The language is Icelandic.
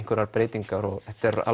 neinar breytingar og þetta er